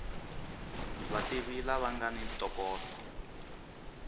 vativi lava nga ni ntokoto